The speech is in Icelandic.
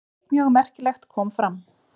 Eitt mjög merkilegt kom fram.